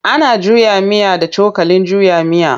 Ana juya miya da cokalin juya miya.